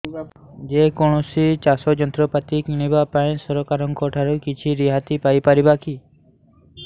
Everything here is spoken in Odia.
ଯେ କୌଣସି ଚାଷ ଯନ୍ତ୍ରପାତି କିଣିବା ପାଇଁ ସରକାରଙ୍କ ଠାରୁ କିଛି ରିହାତି ପାଇ ପାରିବା କି